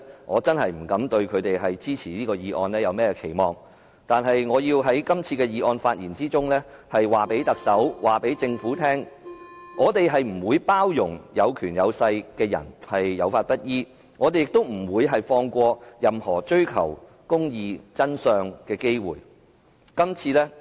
我不敢指望他們會支持這議案，但我要在這次議案發言中告訴特首、告訴政府，我們不會包容有權有勢的人有法不依，我們亦不會放過任何追求公義、真相的機會。